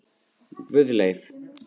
Guðleif